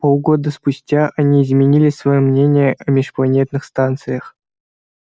полгода спустя они изменили своё мнение о межпланетных станциях